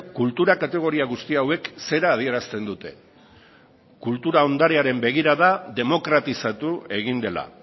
kultura kategoria guzti hauek zera adierazten dute kultura ondarearen begirada demokratizatu egin dela